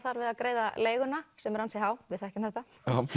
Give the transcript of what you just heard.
þar við að greiða leiguna sem er ansi há við þekkjum þetta